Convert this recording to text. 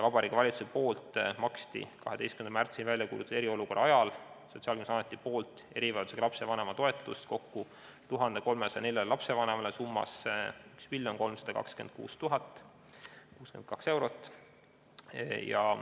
Vabariigi Valitsuse poolt 12. märtsil välja kuulutatud eriolukorra ajal maksis Sotsiaalkindlustusamet erivajadusega lapse vanema toetust kokku 1304 lapsevanemale ja see summa oli kokku 1 326 062 eurot.